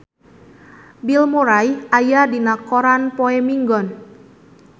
Bill Murray aya dina koran poe Minggon